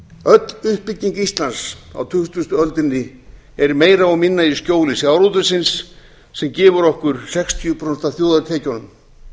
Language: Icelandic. öll uppbygging íslands á tuttugustu öldinni er meira og minna í skjóli sjávarútvegsins sem gefur okkur sextíu prósent af þjóðartekjunum